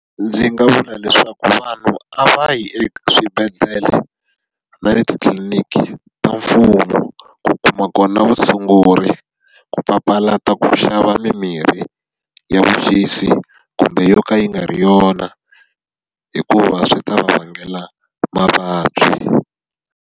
Ndzi nga vula leswaku vanhu a va yi eswibedhlele na le tliliniki ta mfumo ku kuma kona vutshunguri, ku papalata ku xava mimirhi ya vuxisi kumbe yo ka yi nga ri yona hikuva swi ta vangela mavabyi.